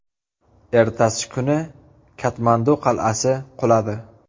Ertasi kuni Katmandu qal’asi quladi.